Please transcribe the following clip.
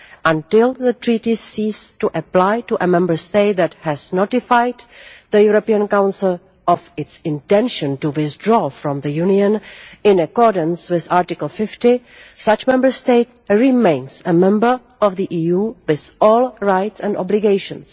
Until the Treaties cease to apply to a Member State that has notified the European Council of its intention to withdraw from the Union, in accordance with Article 50, such a Member State remains a member of the EU, with all rights and obligations.